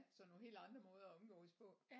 Så nogle helt andre måder at omgås på